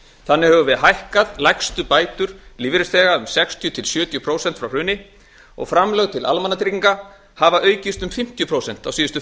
þannig höfum við hækkað lægstu bætur lífeyrisþega um sextíu til sjötíu prósent frá hruni og framlög til almannatrygginga hafa aukist um fimmtíu prósent á síðustu